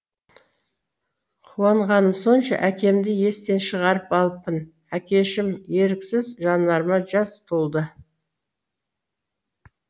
қуанғаным сонша әкемді естен шығарып алыппын әкешім еріксіз жанарыма жас толды